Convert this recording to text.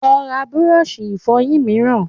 Lọ ra búrọ́ọ̀ṣì Ìfọ̀yín mìíràn